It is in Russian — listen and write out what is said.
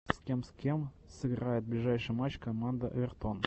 с кем с кем сыграет ближайший матч команда эвертон